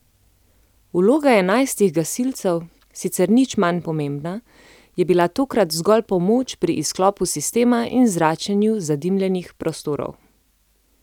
Vloga enajstih gasilcev, sicer nič manj pomembna, je bila tokrat zgolj pomoč pri izklopu sistema in zračenju zadimljenih prostorov.